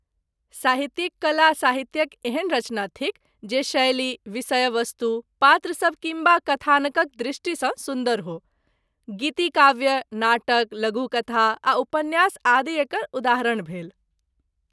साहित्यिक कला साहित्यक एहन रचना थिक जे शैली, विषयवस्तु, पात्र सब किम्बा कथानकक दृष्टिसँ सुन्दर हो। गीति काव्य, नाटक, लघु कथा आ उपन्यास आदि एकर उदाहरण भेल।